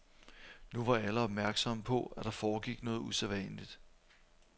Nu var alle opmærksomme på, at der foregik noget usædvanligt.